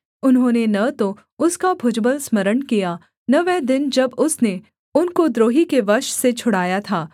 उन्होंने न तो उसका भुजबल स्मरण किया न वह दिन जब उसने उनको द्रोही के वश से छुड़ाया था